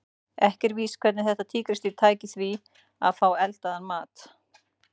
Ekki er víst hvernig þetta tígrisdýr tæki því að fá eldaðan mat.